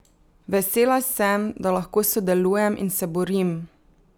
Vesela sem, da lahko sodelujem in se borim!